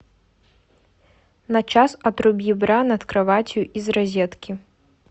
на час отруби бра над кроватью из розетки